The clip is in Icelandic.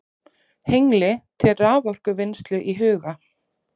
Hengli til raforkuvinnslu í huga.